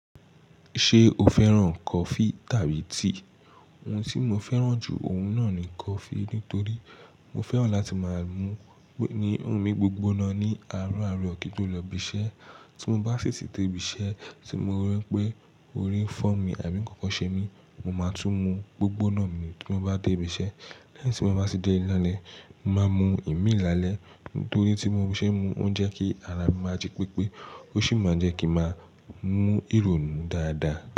Ṣé o fẹ́ràn kọfí tàbí tíì? Òhún tí mó fẹ́ràn jù ọ̀hún náà ní kọfí. Nítorí mó fẹ́ràn láti máa mú ní ọ̀ní gbígbóná ní àárọ̀ àárọ̀ kító lọ ìbí iṣẹ́. Tí mó bá sì tí dè ibí iṣẹ́ tí mó rípé orí ń fọ́ mí àbí ń kànkàn ṣe mí, mó máa tún mú gbígbóná tí mó bá dé ibí iṣẹ́. Tí mó bá tí dè lè lálẹ́, màá mú ìmí lálẹ́ nítorí tí mo bá ṣe mú ó ń jẹ kí ará mi máa jí pípé ó sì máa jẹ́ kí màá mú ìrònú dáadáa.